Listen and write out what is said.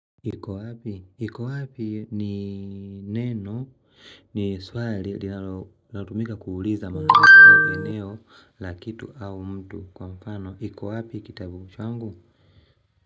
Iko wapi? Iko wapi ni neno ni swali linalo tumika kuuliza mahali au eneo la kitu au mtu kwa mfano. Kiko wapi kitabu changu?